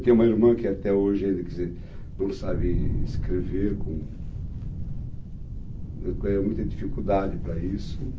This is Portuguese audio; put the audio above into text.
Tem uma irmã que até hoje ainda, quer dizer, não sabe escrever, com, com muita dificuldade para isso.